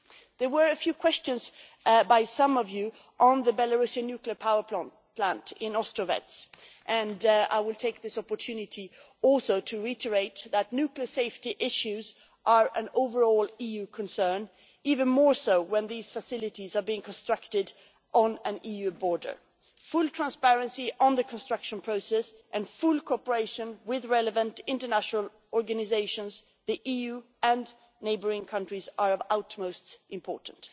There were a few questions by some of you on the Belarusian nuclear power plant in Ostrovets, and I will take this opportunity also to reiterate that nuclear safety issues are an overall EU concern, even more so when these facilities are being constructed on an EU border. Full transparency on the construction process and full cooperation with relevant international organisations, the EU and neighbouring countries are of utmost importance.